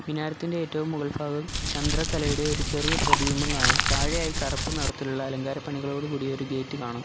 പിനാരത്തിന്റെ ഏറ്റവും മുകൾഫാഗം ചന്ദ്രക്കലയുടെ ഒരു ചെറിയ പ്രതിബിംബം കാണാം താഴെയായി കറുപ്പ് നിറത്തിലുള്ള അലങ്കാര പണികളോട് കൂടി ഒരു ഗേറ്റ് കാണാം.